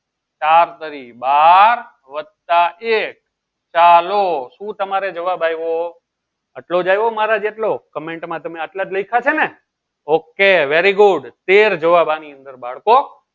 ચાર તારી બાર વત્તા એક ચાલો શું તમારે જવાબ આવ્યો આટલો જ આવ્યો મારા જેટલો comment માં તમે આટલા જ લખ્યા છે ને okay very good તેર જવાબ આની અંદર બાળકો